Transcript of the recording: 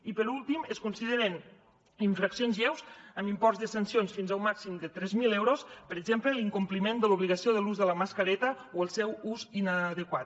i per últim es consideren infraccions lleus amb imports de sancions fins a un màxim de tres mil euros per exemple l’incompliment de l’obligació de l’ús de la mascareta o el seu ús inadequat